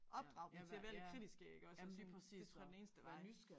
Opdrag dem til at være lidt kritiske iggås og sådan det tror jeg er den eneste vej